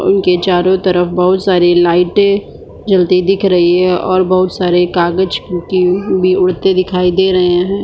उनके चारो तरफ बोहोत सारी लाइटे जलती दिख रही है और बोहोत सारे कागज उनके भी उड़ते दिखाई दे रहे है।